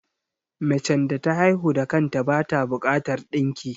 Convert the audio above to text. Macen da ta haihu da kanta bata bukatar ɗinki